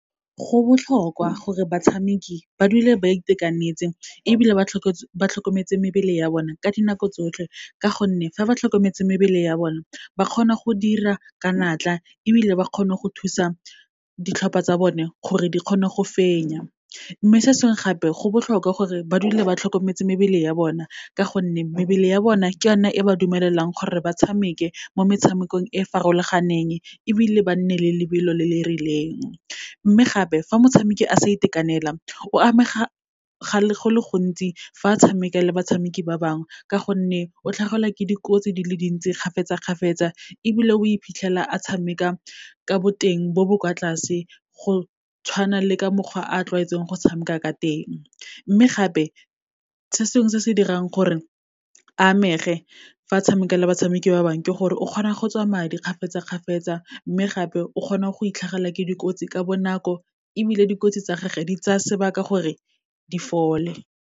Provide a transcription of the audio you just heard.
Go botlhokwa gore batshameki ba dule ba itekanetseng ebile ba tlhokometse mebele ya bona ka dinako tsotlhe, ka gonne fa ba tlhokometse mebele ya bona, ba kgona go dira ka natla ebile ba kgone go thusa ditlhopha tsa bone gore di kgone go fenya. Mme se sengwe gape, go botlhokwa gore ba dule ba tlhokometse mebele ya bona, ka gonne mebele ya bona ke yona e ba dumelelang gore ba tshameke mo metshamekong e farologaneng, ebile ba nne le lebelo le le rileng. Mme gape, fa motshameki a sa itekanela, o amega go le gontsi fa a tshameka le batshameki ba bangwe, ka gonne o tlhagelwa ke dikotsi dile dintsi kgafetsa-kgafetsa, ebile we phitlhela a tshameka ka boteng bo bo kwa tlase, go tshwana le ka mokgwa a tlwaetseng go tshameka ka teng. Mme gape, se sengwe se se dirang gore a amege fa a tshameka le batshameki ba bangwe, ke gore o kgona go tswa madi kgafetsa kgafetsa-kgafetsa, mme gape, o kgona go itlhagelwa ke dikotsi ka bonako, ebile dikotsi tsa gage di tsaya sebaka gore di fole.